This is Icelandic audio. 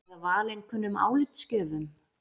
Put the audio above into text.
Eða valinkunnum álitsgjöfum?